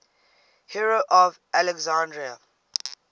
hero of alexandria